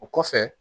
O kɔfɛ